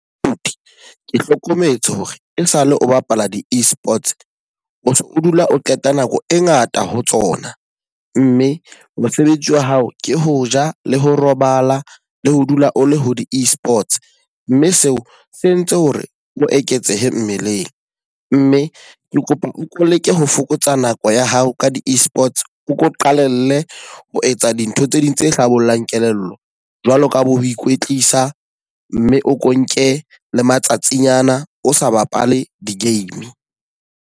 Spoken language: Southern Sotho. Abuti, ke hlokometse hore e sa le o bapala di e-Sports, o so o dula o qeta nako e ngata ho tsona. Mme mosebetsi wa hao ke ho ja le ho robala le ho dula o le ho di e-Sports. Mme seo se entse hore o eketsehe mmeleng. Mme ke kopa o leke ho fokotsa nako ya hao ka di e-Sports. O ko qalelle ho etsa dintho tse ding tse hlabollang kelello, jwalo ka bo ikwetlisa. Mme o ko nke le matsatsing ana o sa bapale di-game.